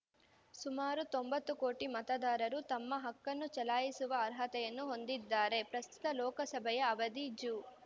ಸುಮಾರು ತೊಂಬತ್ತು ಕೋಟಿ ಮತದಾರರು ತಮ್ಮ ಹಕ್ಕನ್ನು ಚಲಾಯಿಸುವ ಅರ್ಹತೆಯನ್ನು ಹೊಂದಿದ್ದಾರೆ ಪ್ರಸ್ತುತ ಲೋಕಸಭೆಯ ಅವಧಿ ಜೂ